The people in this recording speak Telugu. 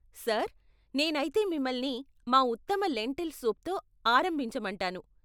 సార్, నేనైతే మిమ్మల్ని మా ఉత్తమ లెంటిల్ సూప్తో ఆరంభించమంటాను.